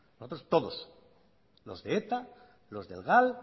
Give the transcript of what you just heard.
nosotros todos los de eta los del gal